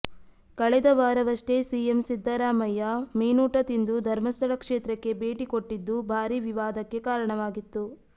ಕಳೆದ ವಾರವಷ್ಟೇ ಸಿಎಂ ಸಿದ್ದರಾಮಯ್ಯ ಮೀನೂಟ ತಿಂದು ಧರ್ಮಸ್ಥಳ ಕ್ಷೇತ್ರಕ್ಕೆ ಭೇಟಿ ಕೊಟ್ಟಿದ್ದು ಭಾರೀ ವಿವಾದಕ್ಕೆ ಕಾರಣವಾಗಿತ್ತು